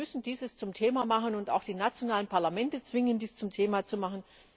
Wir müssen dies zum Thema machen und auch die nationalen Parlamente zwingen, dies zum Thema zu machen.